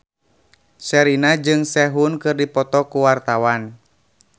Sherina jeung Sehun keur dipoto ku wartawan